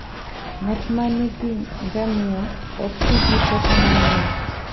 Ng'at ma nigi ngamia ok ti gi teko mang'eny.